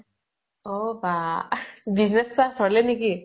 অ বা । business start হʼলে নেকি ?